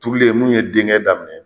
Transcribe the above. Turulen munnu ye denkɛ daminɛ